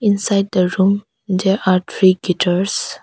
Inside the room there are three guitars.